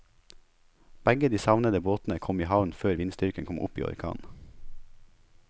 Begge de savnede båtene kom i havn før vindstyrken kom opp i orkan.